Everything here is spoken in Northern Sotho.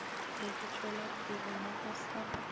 se batšwelapele mo go sa